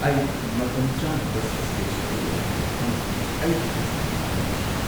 ꯑꯩ ꯃꯇꯝꯆꯥꯅ ꯕꯁ ꯁ꯭ꯇꯦꯁꯟꯗ ꯌꯧꯈꯤꯗꯦ ꯑꯃꯁꯨꯡ ꯑꯩꯒꯤ ꯕꯁ ꯑꯗꯨ ꯅꯪꯈꯤꯗꯦ꯫